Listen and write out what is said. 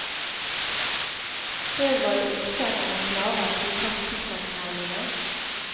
Før var det okser eller slaver som trakk sukkerkvernene.